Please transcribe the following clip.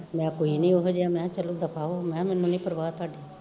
ਮੈਂ ਕੋਈ ਨੀ ਓਹਿਆ ਜਾ, ਮਹਾ ਚਲੋ ਦਫਾ ਹੋਵੋ, ਮਹਾ ਮੈਨੂੰ ਨੀ ਪਰਵਾਹ ਤੁਹਾਡੀ